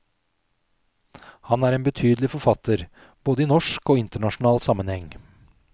Han er en betydelig forfatter, både i norsk og internasjonal sammenheng.